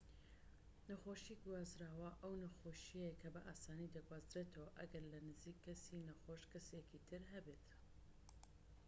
نەخۆشیی گوازراوە ئەو نەخۆشیەیە کە بە ئاسانی دەگوازرێتەوە ئەگەر لە نزیك کەسی نەخۆش کەسێکی تر هەبێت